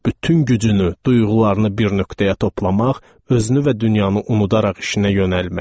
Bütün gücünü, duyğularını bir nöqtəyə toplamaq, özünü və dünyanı unudaraq işinə yönəlmək.